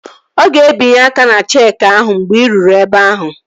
Ọ ga-ebinye aka ná cheeki ahụ mgbe ị ruru ebe ahụ